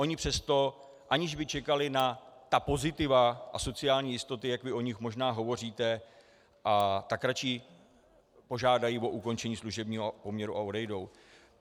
Oni přesto, aniž by čekali na ta pozitiva a sociální jistoty, jak vy o nich možná hovoříte, tak radši požádají o ukončení služebního poměru a odejdou.